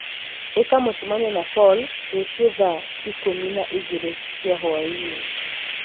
ĩka mũcemanio na Paul rũciũ thaa ikũmi na igĩrĩ cia hwaĩinĩ